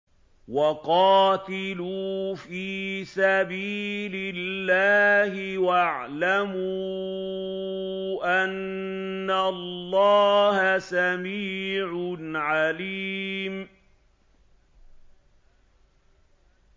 وَقَاتِلُوا فِي سَبِيلِ اللَّهِ وَاعْلَمُوا أَنَّ اللَّهَ سَمِيعٌ عَلِيمٌ